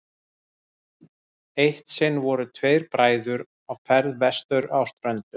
eitt sinn voru tveir bræður á ferð vestur á ströndum